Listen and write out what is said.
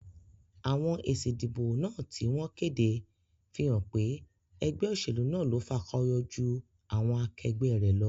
Àwon èsì ìdìbò náà tí wón kéde fí hán pé egbé òsèlú náà lo fakoyo jú àwon akegbé rè lo